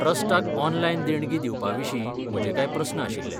ट्रस्टाक online देणगीं दिवपाविशीं म्हजे कांय प्रस्न आशिल्ले.